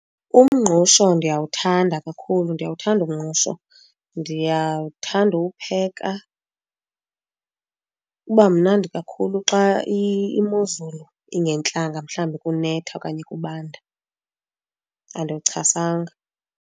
Umngqusho ndiyawuthanda kakhulu, ndiyawuthanda umngqusho, ndiyawuthanda uwupheka. Uba mnandi kakhulu xa imozulu ingentlanga mhlawumbi kunetha okanye kubanda, andiwuchasanga.